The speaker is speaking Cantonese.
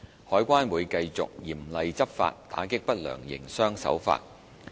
海關會繼續嚴厲執法，打擊不良營商手法。